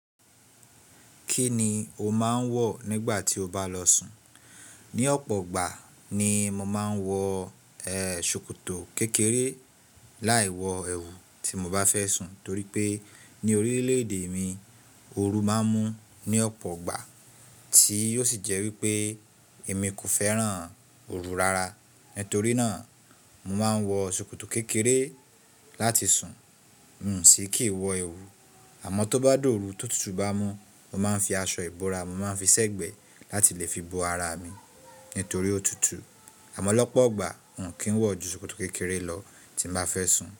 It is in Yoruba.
Kí ni o máa ń wọ̀ nígbà tí o bá lọ sùn? Ní ọ̀pọ̀ ìgbà ni mo máa ń wọ, ṣòkòtò kékeré láì wọ ẹwù tí mo bá fẹ́ sùn torí pé ní orílẹ̀-èdè mi oru máa ń mú ní ọ̀pọ̀ ìgbà tí ó sì jẹ́ wípé èmi kò fẹ́ràn oru rárá. Nítorí náà, mo máa ń wọ ṣòkòtò kékeré láti sùn, n kò si kí wọ ẹwù. Àmọ́ tó bá dọ̀ọ̀ru tó tutù bá mú, mo máa ń fi aṣọ ìbora, mo máa ń fi sẹ́gbẹ̀ẹ́ láti lè fi bo ara mi nítorí ó tutù. Àmọ́ lọ́pọ̀ ìgbà, n kì ń wọ̀ ju ṣòkòtò kékeré lọ tí n bá fẹ́ sùn.